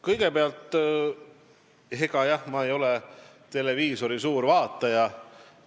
Kõigepealt, jah, ma ei ole suur televiisorivaataja.